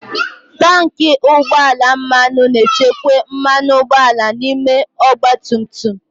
Tanki ugbọ ala mmanụ na-echekwa mmanụ ụgbọala n'ime ọgba tum tum.